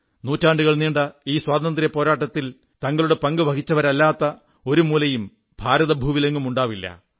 നൂറ്റാണ്ടുകൾ നീണ്ട ഈ സ്വാതന്ത്ര്യപ്പോരാട്ടത്തിൽ തങ്ങളുടെ പങ്കു വഹിച്ചവരില്ലാത്ത ഒരു മൂലയും ഭാരതഭൂവിലെങ്ങും ഉണ്ടാവില്ല